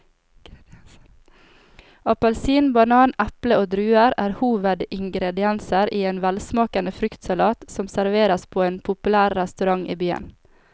Appelsin, banan, eple og druer er hovedingredienser i en velsmakende fruktsalat som serveres på en populær restaurant i byen.